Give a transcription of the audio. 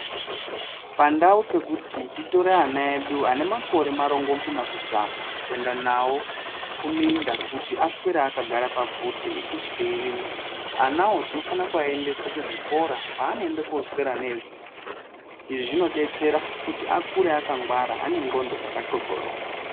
Pandau pekuti titore vana vedu vane makore marongomuna kudzaka kuenda nawo kumunda vaswere vakagara pabvute isu teirima vana vo tofana vaendesa kuzvikora kwaunoenda koswera nezera rawo izvi zvinodetsera kuti akure akangwara ane ngonxo dzakanxonxoroka.